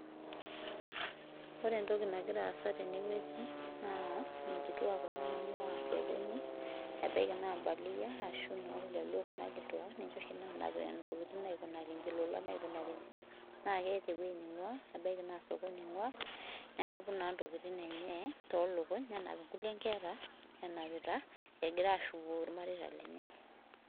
Ore entoki nagira aasa ten wueji naa nkituak kuna nainguaa sokoni, ebaiki naa imbaluyia ashu inooljaluo kuna kituak, ninche oshi naanap intokitin aikunaki iji ilolan aikunaki injo. Naa keetaewueji neinguaa ebaiki naa sokoni enguaa nenapu naa ilolan lenye too lukuny. Nenapi inkulie inkera enapita engura aashuko irmareita lenye.